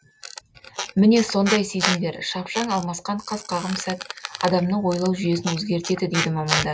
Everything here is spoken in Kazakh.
міне сондай сезімдер шапшаң алмасқан қас қағым сәт адамның ойлау жүйесін өзгертеді дейді мамандар